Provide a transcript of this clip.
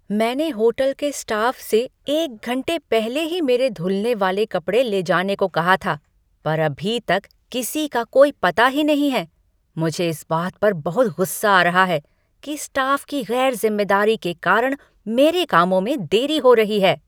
मैंने होटल के स्टाफ से एक घंटे पहले ही मेरे धुलने वाले कपड़े ले जाने को कहा था पर अभी तक किसी का कोई पता ही नहीं है। मुझे इस बात पर बहुत गुस्सा आ रहा है कि स्टाफ के गैर जिम्मेदारी के कारण मेरे कामों में देरी हो रही है!